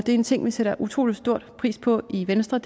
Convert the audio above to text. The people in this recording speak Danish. en ting vi sætter utrolig stor pris på i venstre